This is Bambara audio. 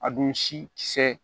A dun si kisɛ